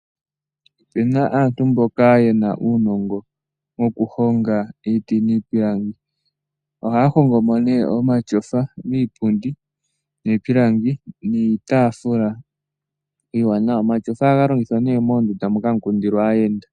Opuna aantu mboka ye na uunongo wokuhonga iiti niipilangi. Ohaya hongo mo nee omatyofa , iipundi niitaafula iiwanawa. Omatyofa oha ga longithwa nduno moondunda moka ha mu kundilwa aayenda.